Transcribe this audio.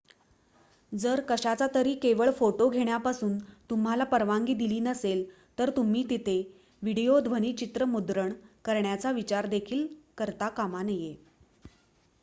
जर कशाचातरी केवळ फोटो घेण्यापासून तुम्हाला परवानगी दिली नसेल तर तुम्ही तिथे व्हिडीओ ध्वनीचित्र मुद्रण करण्याचा विचार देखील करता कामा नये